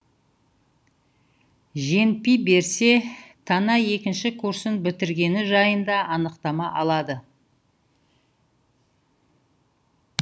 женпи берсе тана екінші курсын бітіргені жайында анықтама алады